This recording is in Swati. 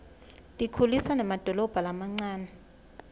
tikhulisa nemadolobha lamancane